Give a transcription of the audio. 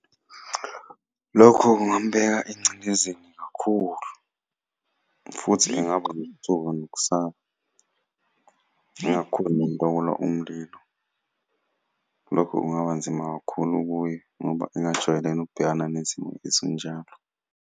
Lokho kungamubeka engcindezini kakhulu, futhi engaba nokuthuka nokusaba. Ngingakhoni nokulawula umlilo. Lokho kungaba nzima kakhulu kuye ngoba engakujwayele nokubhekana nezimo ezinjalo.